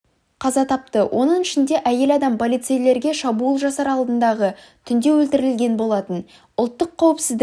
қаза тапты оның ішінде әйел адам полицейлерге шабуыл жасар алдындағы түнде өлтірілген болатын ұлттық қауіпсіздік